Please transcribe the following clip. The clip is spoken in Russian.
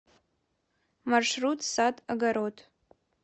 маршрут сад огород